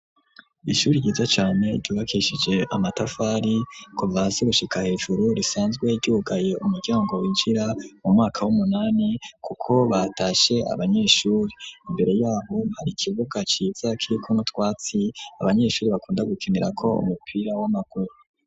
Ishuri ryiza cane, ryubakishije amatafari, kuva hasi, gushika hejuru; risanzwe ryugaye umuryango, winjira mu mwaka w'umunani, kuko batashe abanyeshuri; imbere y'aho, hari ikibuga ciza, kiriko n'utwatsi, abanyeshuri bakunda gukinirako, umupira w'amaguru.